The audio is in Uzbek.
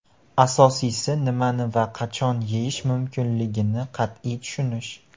Asosiysi nimani va qachon yeyish mumkinligini qat’iy tushunish.